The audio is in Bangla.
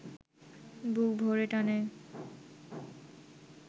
বুক ভরে টানে